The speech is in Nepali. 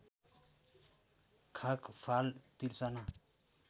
खाँक फाल तिर्सना